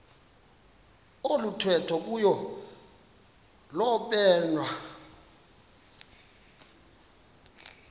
oluthethwa kuyo lobonwa